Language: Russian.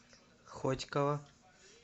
хотьково